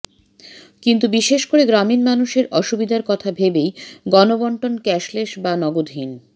কিন্তু বিশেষ করে গ্রামীণ মানুষের অসুবিধের কথা ভেবেই গণবণ্টন ক্যাশলেস বা নগদহীন